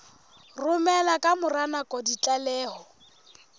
romela ka mora nako ditlaleho